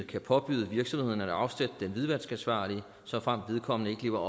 kan påbyde virksomhederne at afsætte den hvidvaskansvarlige såfremt vedkommende ikke lever